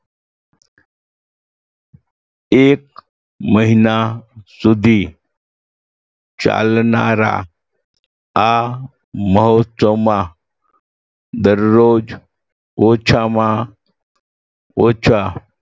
એક મહિના સુધી ચાલનારા આ મહોત્સવમાં દરરોજ ઓછામાં ઓછા